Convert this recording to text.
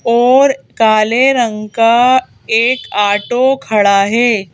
और काले रंग का एक ऑटो खड़ा है।